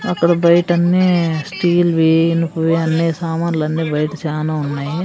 అక్కడ బైటన్నీ స్టీల్ వి ఇనుపవి అన్నీ సమాన్లన్నీ బైట చానా ఉన్నాయి.